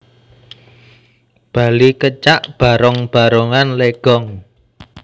Bali Kecak Barong Barongan Legong